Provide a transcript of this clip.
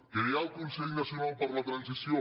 crear el consell nacional per a la transició